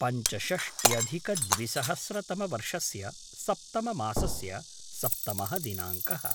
पञ्चषष्ट्यधिकद्विसहस्रतमवर्षस्य सप्तममासस्य सप्तमः दिनाङ्कः